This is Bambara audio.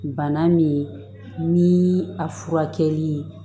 Bana min ni a furakɛli